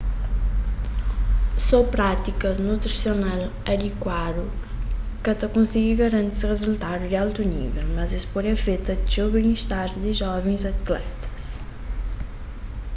só prátikas nutrisional adikuadu ka ta konsigi garanti rizultadus di altu nível mas es pode afeta txeu ben-istar di jovens atletas